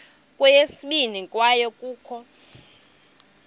kweyesibini kwaye kukho